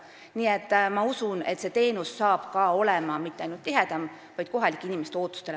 Nii et ma usun, et teenus ei ole edaspidi mitte ainult tihedam, vaid vastab paremini ka kohalike inimeste ootustele.